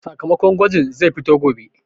Sakamakon gwajin zai fito gobe